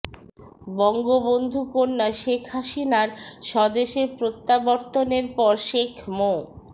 বঙ্গবন্ধু কন্যা শেখ হাসিনার স্বদেশে প্রত্যাবর্তনের পর শেখ মো